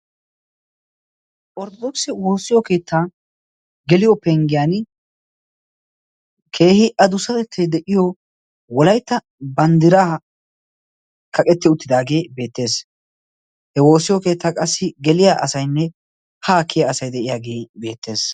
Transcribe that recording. ortodokisi woossiyo keettaa geliyo penggiyan keehi a dusatettay de7iyo wolaitta banddiraa kaqetti uttidaagee beettees. he woossiyo keettaa qassi geliya asainne haa kiya asai de7iyaagee beettees.